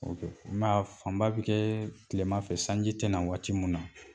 a fanba bi kɛ kilema fɛ sanji tina waati min na